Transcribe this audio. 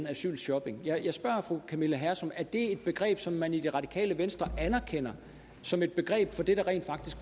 asylshopping jeg spørger fru camilla hersom er det et begreb som man i det radikale venstre anerkender som et begreb for det der rent faktisk